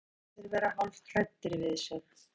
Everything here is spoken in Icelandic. Oft fannst honum allir vera hálfhræddir við sig.